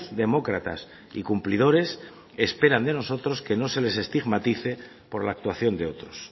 demócratas y cumplidores esperan de nosotros que no se les estigmatice por la actuación de otros